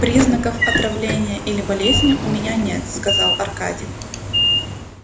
признаков отравления или болезни у меня нет сказал аркадий